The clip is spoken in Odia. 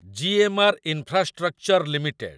ଜି.ଏମ୍‌.ଆର୍‌. Infrastructure limited